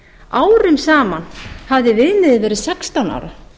árum saman hafði viðmiðið verið sextán ára